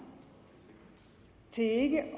til ikke at